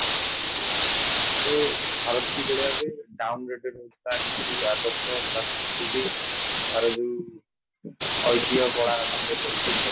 ଯେ ଭାରତ କିଭଳି ଭାବେ down rated ହଉଚି ତା ନୀତି ଆଦର୍ଶ ତା ସଂସ୍କୃତି ତାର ଯୋଉ ଐତିହ କଳା ବାହାରେ ପଡିଛି ଅଛି